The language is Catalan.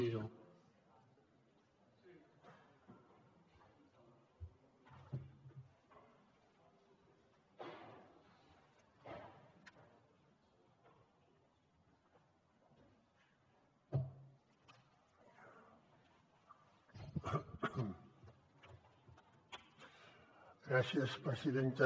gràcies presidenta